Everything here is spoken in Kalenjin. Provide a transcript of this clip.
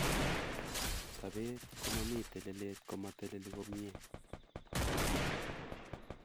sapet komami telelet ko mateleli komiei